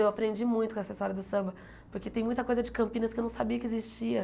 Eu aprendi muito com essa história do samba, porque tem muita coisa de Campinas que eu não sabia que existia.